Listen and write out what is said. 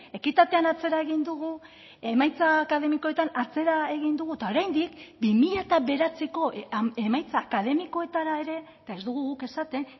ekitatean atzera egin dugu emaitza akademikoetan atzera egin dugu eta oraindik bi mila bederatziko emaitza akademikoetara ere eta ez dugu guk esaten